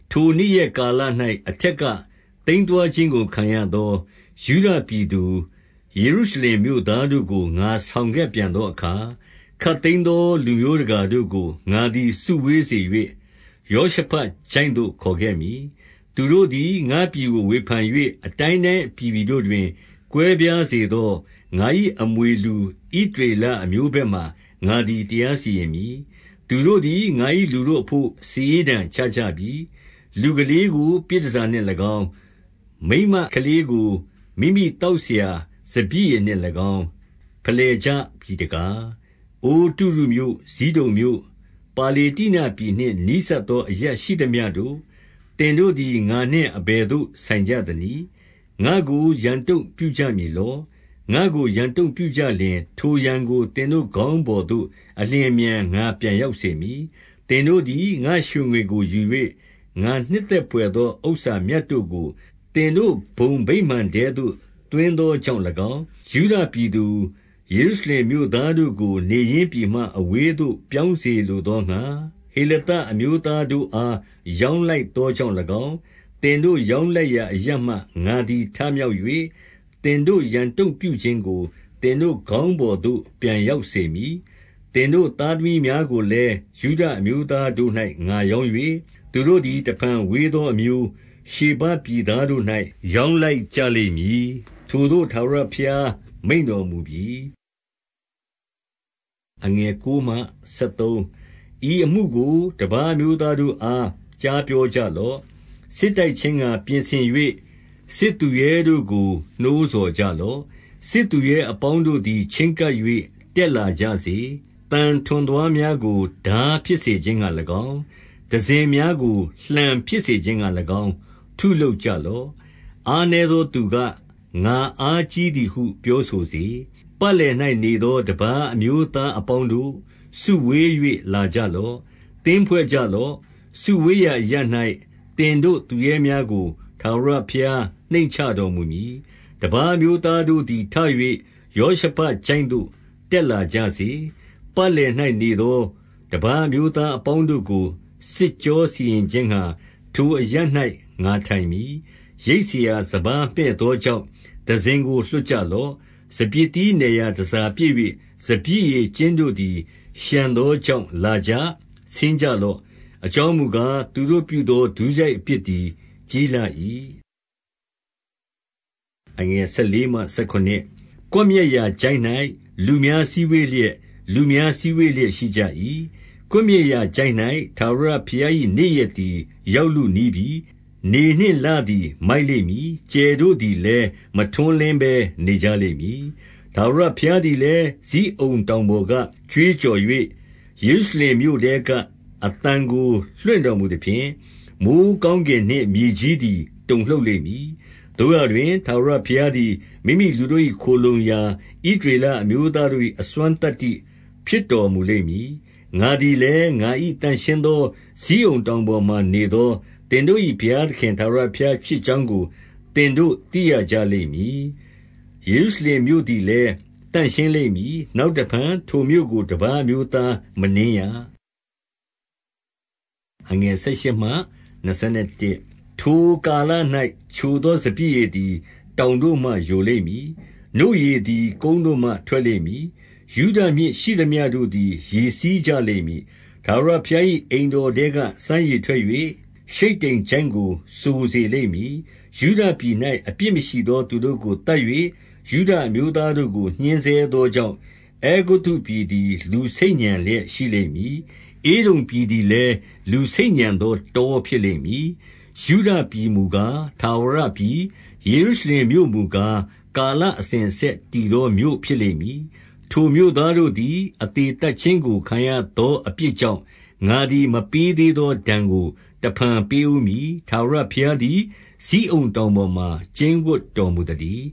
ထိုနေ့ရက်ကာလ၌ အထက်က သိမ်းသွားခြင်း ကို ခံရသော ယုဒပြည်သူ၊ ယေရုရှလင်မြို့သားတို့ကို ငါဆောင်ခဲ့ပြန်သောအခါ၊ 2 ခပ်သိမ်းသော လူမျိုးတကာတို့ကို ငါသည် စုဝေး စေ၍ ယောရှဖတ်ချိုင့်သို့ ခေါ်ခဲ့မည်။ သူတို့သည် ငါ့ပြည် ကို ဝေဖန်၍ အတိုင်းတိုင်းအပြည်ပြည်တို့တွင် ကွဲပြားစေ သော ငါ၏အမွေလူ ဣသရေလအမျိုးဘက်မှာ ငါသည် တရားစီရင်မည်။ 3 သူတို့သည် ငါ၏လူတို့အဘို့ စာရေးတံချကြပြီ။ လူကလေးကို ပြည်တန်ဆာနှင့်၎င်း၊ မိန်းမကလေးကို မိမိသောက်စရာ စပျစ်ရည်နှင့်၎င်း ဖယ်လှယ်ကြပြီ တကား။ 4 အိုတုရုမြို့၊ ဇိဒုန်မြို့၊ ပါလေတ္တိနပြည်နှင့် နီးစပ် သော အရပ်ရှိသမျှတို့၊ သင်တို့သည် ငါနှင့် အဘယ်သို့ ဆိုင်ကြသနည်း။ ငါ့ကို ရန်တုံ့ပြုကြမည်လော။ ငါ့ကို ရန်တုံ့ ပြုကြလျှင်၊ ထိုရန်ကို သင်တို့ ခေါင်းပေါ်သို့ အလျင်အမြန် ငါပြန်ရောက်စေမည်။ 5 သင်တို့သည် ငါ့ရွှေငွေကို ယူ၍၊ ငါနှစ်သက် ဘွယ်သော ဥစ္စာမြတ်တို့ကို သင်တို့ဘုံဗိမာန်ထဲသို့ သွင်းသောကြောင့်၎င်း၊ 6 ယုဒပြည်သူ၊ ယေရုရှလင်မြို့သားတို့ကို နေရင်း ပြည်မှ အဝေးသို့ ပြောင်းစေလိုသောငှါ၊ ဟေလသ အမျိုးသားတို့အား ရောင်းလိုက်သောကြောင့်၎င်း၊ 7 သင်တို့ ရောင်းလိုက်ရာအရပ်မှ ငါသည် ထ မြောက်၍၊ သင်တို့ ရန်တုံ့ပြုခြင်းကို သင်တို့ခေါင်းပေါ်သို့ ပြန်ရောက်စေမည်။ 8 သင်တို့သားသမီးများကိုလည်း ယုဒအမျိုးသား တို့၌ ငါရောင်း၍၊ သူတို့သည် တဖန်ဝေးသော အမျိုး၊ ရှေဘပြည်သားတို့၌ ရောင်းလိုက်ကြလိမ့်မည်။ ထိုသို့ ထာဝရဘုရားမိန့်တော်မူပြီ။ 9 ဤအမှုကို တပါးအမျိုးသားတို့အား ကြားပြော ကြလော့။ စစ်တိုက်ခြင်းငှာ ပြင်ဆင်၍ စစ်သူရဲတို့ကို နှိုးဆော်ကြလော့။ စစ်သူရဲအပေါင်းတို့သည် ချဉ်းကပ်၍ တက်လာကြစေ။ 10 သံထွန်သွားများကို ထားဖြစ်စေခြင်းငှာ၎င်း၊ တံစဉ်များကို လှံဖြစ်စေခြင်းငှာ၎င်း ထုလုပ်ကြလော့။ အားနည်းသောသူက၊ ငါအားကြီးသည်ဟု ပြောဆိုစေ။ 11 ပတ်လည်၌နေသော တပါးအမျိုးသား အပေါင်းတို့၊ စုဝေး၍ လာကြလော့။ သင်းဖွဲ့ကြလော့။ စုဝေးရာအ ရပ်၌ သင်တို့သူရဲများကို ထာဝရဘုရားနှိမ့်ချတော်မူ မည်။ 12 တပါးအမျိုးသားတို့သည် ထ၍ ယောရှဖတ်ချိုင့် သို့ တက်လာကြစေ။ ပတ်လည်၌နေသော တပါးအမျိုး သားအပေါင်းတို့ကို စစ်ကြောစီရင်ခြင်းငှာ ထိုအရပ်၌ ငါထိုင်မည်။ 13 ရိတ်စရာ စပါးမှည့်သောကြောင့် တံစဉ်ကို လွှတ်ကြလော့။ စပျစ်သီး နယ်ရာတန်ဆာပြည့်၍၊ စပျစ် ရည် ကျင်းတို့သည် လျှံသောကြောင့် လာကြ။ ဆင်းကြ လော့။ အကြောင်းမူကား၊ သူတို့ပြုသော ဒုစရိုက်အပြစ် သည် ကြီးလှ၏။ 14 ကွပ်မျက်ရာချိုင့်၌ လူများ စည်းဝေးလျက်၊ လူများစည်းဝေးလျက်ရှိကြ၏။ ကွပ်မျက်ရာချိုင့်၌ ထာဝရ ဘုရား၏ နေ့ရက်သည် ရောက်လုနီးပြီ။ 15 နေနှင့်လသည် မိုက်လိမ့်မည်။ ကြယ်တို့သည် လည်း မထွန်းလင်းဘဲ နေကြလိမ့်မည်။ 16 ထာဝရဘုရားသည်လည်း ဇိအုန်တောင်ပေါ်က ကြွေးကြော်၍၊ အသံကိုလွှင့်တော်မူ သဖြင့်၊ မိုဃ်းကောင်းကင်နှင့် မြေကြီးသည် တုန်လှုပ်လိမ့် မည်။ သို့ရာတွင်၊ ထာဝရဘုရားသည် မိမိလူတို့၏ ခိုလှုံရာ၊ ဣသရေလအမျိုးသားတို့၏ အစွမ်းသတ္တိဖြစ်တော်မူလိမ့် မည်။ 17 ငါသည်လည်း ငါ၏သန့်ရှင်းသော ဇိအုန်တောင် ပေါ်မှာနေသော သင်တို့၏ ဘုရားသခင် ထာဝရဘုရား ဖြစ်ကြောင်းကို သင်တို့သိရကြလိမ့်မည်။ ယေရုရှလင်မြို့ သည်လည်း သန့်ရှင်းလိမ့်မည်။ နောက်တဖန် ထိုမြို့ကို တပါးအမျိုးသား မနင်းရ။ 18 ထိုကာလ၌ ချိုသော စပျစ်ရည်သည် တောင်တို့ မှ ယိုလိမ့်မည်။ နို့ရည်သည် ကုန်းတို့မှ ထွက်လိမ့်မည်။ ယုဒမြစ်ရှိသမျှတို့သည် ရေစီးကြလိမ့်မည်။ ထာဝရဘုရား၏ အိမ်တော်ထဲက စမ်းရေထွက်၍ ရှိတ္တိမ်ချိုင့်ကို စိုစေလိမ့်မည်။ 19 ယုဒပြည်၌ အပြစ်မရှိသောသူတို့ကို သတ်၍ ယုဒအမျိုးသားတို့ကို ညှဉ်းဆဲသောကြောင့်၊ အဲဂုတ္တုပြည် သည်လူဆိတ်ညံလျက် ရှိလိမ့်မည်။ ဧဒုံပြည်သည်လည်း လူဆိတ်ညံသော တောဖြစ်လိမ့်မည်။ 20 ယုဒပြည်မူကား၊ ထာဝရပြည်၊ ယေရုရှလင်မြို့မူကား၊ ကာလအစဉ်အဆက်တည်သော မြို့ဖြစ်လိမ့်မည်။ 21 ထိုမြို့သားတို့သည် အသေသတ်ခြင်းကို ခံရသောအပြစ်ကြောင့်၊ ငါသည် မပေးသေးသောဒဏ်ကို တဖန်ပေးဦးမည်။ ထာဝရဘုရားသည် ဇိအုန်တောင်ပေါ်မှာ ကျိန်းဝပ်တော်မူသတည်